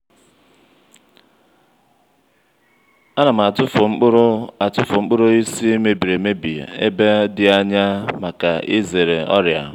a na m atụfụ nkpụrụ atụfụ nkpụrụ osisi mebiri emebi e ba di anya maka e zere ọrịa.